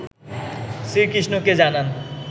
শ্রীকৃষ্ণকে জানান